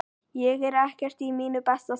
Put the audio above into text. Ég er ekkert í mínu besta standi.